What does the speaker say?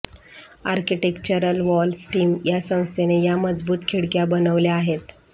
architectural wall system या संस्थेने या मजबूत खिडक्या बनवल्या आहेत